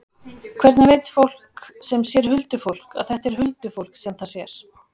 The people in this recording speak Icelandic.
Hvernig veit fólk sem sér huldufólk að þetta er huldufólk sem það sér?